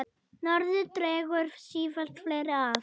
Norðrið dregur sífellt fleiri að.